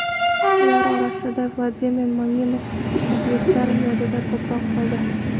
Ular orasidan Vladimir Maminov muxlislar yodida ko‘proq qoldi.